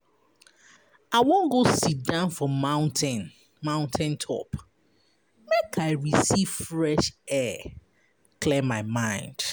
I wan go siddon for mountain mountain top make I receive fresh air clear my mind.